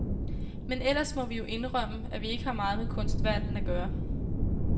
Men ellers må vi jo indrømme, at vi ikke har meget med kunstverdenen at gøre.